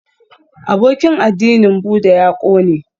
Abokin addinin Buddha ya ƙone